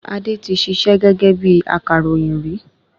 Adé tí ṣiṣẹ́ gẹ́gẹ́ bíi akàròyìn rí